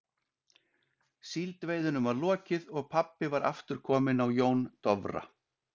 Síldveiðunum var lokið og pabbi var aftur kominn á Jón Dofra.